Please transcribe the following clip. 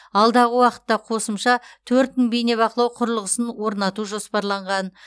алдағы уақытта қосымша төрт мың бейнебақылау құрылғысын орнату жоспарланған